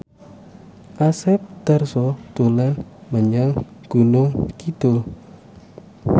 Asep Darso dolan menyang Gunung Kidul